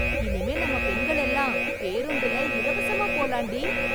இனிமே நம்ம பெண்கள் எல்லாம் பேருந்துல இலவசமா போலாண்டி...